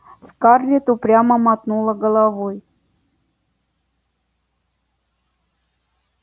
скарлетт упрямо мотнула головой